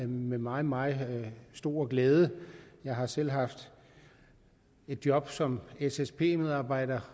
med meget meget stor glæde jeg har selv haft et job som ssp medarbejder